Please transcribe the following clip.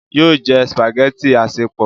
yóò jẹ spaghetti asepọ